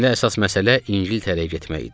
İndi əsas məsələ İngiltərəyə getmək idi.